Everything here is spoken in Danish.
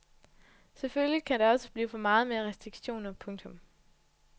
Selvfølgelig kan det også blive for meget med restriktioner. punktum